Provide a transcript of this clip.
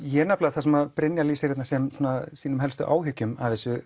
það sem Brynjar lýsir þarna sem sínum helstu áhyggjum